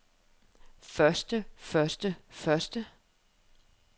første første første